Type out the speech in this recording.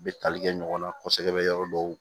U bɛ tali kɛ ɲɔgɔn na kosɛbɛ yɔrɔ dɔw